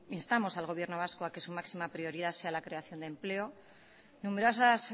instamos al gobierno vasco a que su máxima prioridad sea la creación de empleo numerosas